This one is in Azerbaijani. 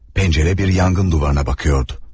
Pencere bir yangın duvarına bakıyordu.